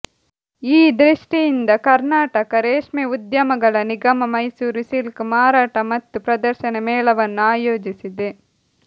ಈ ದೃಷ್ಟಿಯಿಂದ ಕರ್ನಾಟಕ ರೇಷ್ಮೆ ಉದ್ಯಮಗಳ ನಿಗಮ ಮೈಸೂರು ಸಿಲ್ಕ್ ಮಾರಾಟ ಮತ್ತು ಪ್ರದರ್ಶನ ಮೇಳವನ್ನು ಆಯೋಜಿಸಿದೆ